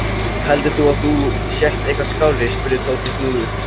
Heldur þú að þú sért eitthvað skárri? spurði Tóti snúðugt.